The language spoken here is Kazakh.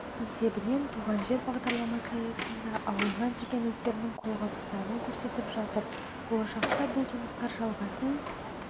есебінен туған жер бағдарламасы аясында ауылына деген өздерінің қолғабыстарын көрсетіп жатыр болашақта бұл жұмыстар жалғасын